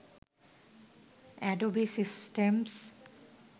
Adobe systems